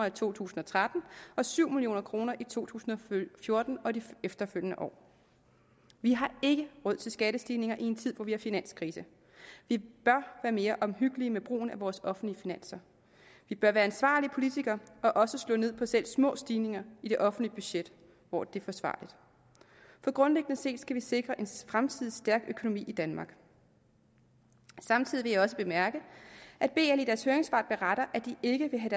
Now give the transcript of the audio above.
i to tusind og tretten og syv million kroner i to tusind og fjorten og de efterfølgende år vi har ikke råd til skattestigninger i en tid hvor vi har finanskrise vi bør være mere omhyggelige med brugen af vores offentlige finanser vi bør være ansvarlige politikere og også slå ned på selv små stigninger i det offentlige budget hvor det er forsvarligt for grundlæggende set skal vi sikre en fremtidig stærk økonomi i danmark samtidig vil jeg også bemærke at bl i deres høringssvar beretter at de ikke vil have